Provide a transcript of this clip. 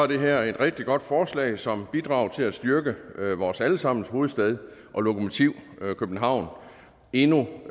det her et rigtig godt forslag som bidrager til at styrke vores alle sammens hovedstad og lokomotiv københavn endnu